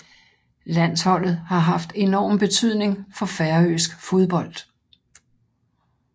Landsholdet har haft enorm betydning for færøsk fodbold